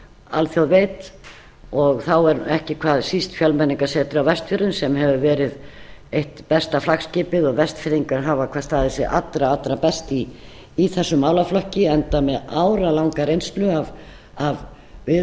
alþjóð veit og þá er ekki hvað síst fjölmenningarsetrið á vestfjörðum sem hefur verið eitt besta flaggskipið og vestfirðingar hafa staðið sig hvað allra allra best í þessum málaflokki enda með áralanga reynslu af